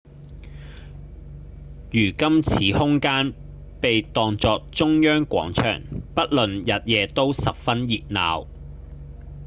如今此空間被當作中央廣場不論日夜都十分熱鬧